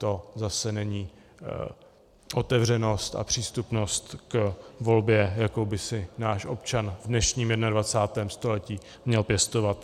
To zase není otevřenost a přístupnost k volbě, jakou by si náš občan v dnešním 21. století měl pěstovat.